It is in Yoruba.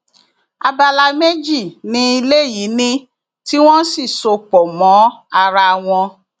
abala méjì ni ilé yìí ní tí wọn sì so pọ mọ ara wọn